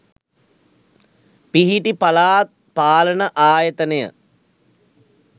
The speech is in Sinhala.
පිහිටි පළාත් පාලන ආයතනය